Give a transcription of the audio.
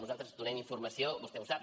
nosaltres donem informació vostè ho sap